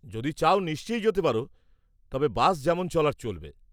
-যদি চাও নিশ্চয়ই যেতে পারো, তবে বাস যেমন চলার চলবে।